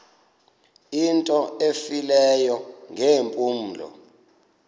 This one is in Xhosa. into efileyo ngeempumlo